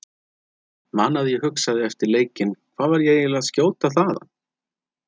Man að ég hugsaði eftir leikinn Hvað var ég eiginlega að skjóta þaðan?